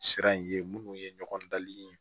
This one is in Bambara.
Sira in ye minnu ye ɲɔgɔn dali